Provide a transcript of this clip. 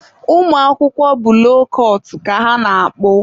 ụmụ akwụkwọ bụ loo kụtụ ka ha na-akpụ.